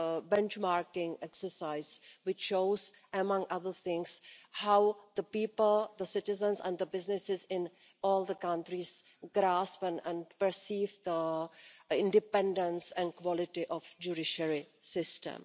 benchmarking exercise and shows, among other things, how the people, the citizens and the businesses in all the countries grasp and perceive the independence and quality of the judiciary system.